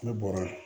Ne bɔra